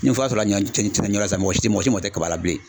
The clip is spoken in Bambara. Ni fura sɔrɔla ɲɔ mɔgɔ si mɔgɔ si mago tɛ kaba la bilen.